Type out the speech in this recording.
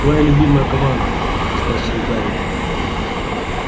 твоя любимая команда спросил гарри